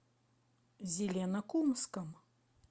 зеленокумском